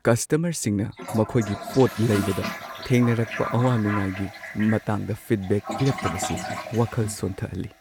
ꯀꯁꯇꯃꯔꯁꯤꯡꯅ ꯃꯈꯣꯏꯒꯤ ꯄꯣꯠ ꯂꯩꯕꯗ ꯊꯦꯡꯅꯔꯛꯄ ꯑꯋꯥ-ꯅꯨꯡꯉꯥꯏꯒꯤ ꯃꯇꯥꯡꯗ ꯐꯤꯗꯕꯦꯛ ꯄꯤꯔꯛꯇꯕꯁꯤ ꯋꯥꯈꯜ ꯁꯣꯟꯊꯍꯜꯂꯤ ꯫